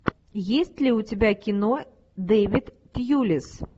есть ли у тебя кино дэвид тьюлис